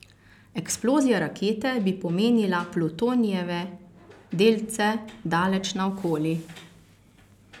Eksplozija rakete bi pomenila plutonijeve delce daleč naokoli.